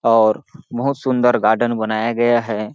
और बहुत सुंदर गार्डन बनाया गया है।